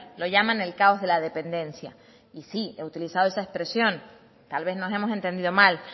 lo llaman el caos de la dependencia y sí he utilizado esa expresión tal vez nos hemos entendido mal